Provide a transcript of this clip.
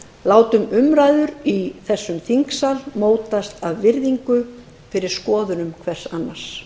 látum umræður í þessum sal mótast af virðingu fyrir skoðunum hvers annars